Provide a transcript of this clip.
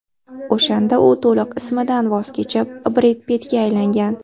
O‘shanda u to‘liq ismidan voz kechib, Bred Pittga aylangan.